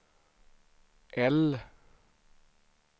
L